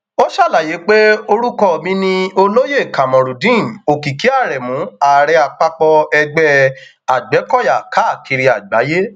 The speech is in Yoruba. ó ṣàlàyé pé orúkọ mi ni olóyè kamorudeen òkìkí aremu ààrẹ àpapọ ẹgbẹ agbẹkọyà káàkiri àgbáyé